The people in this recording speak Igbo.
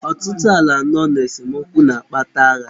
Ọtụtụ ala nọ n'esemokwu nke na-akpata agha.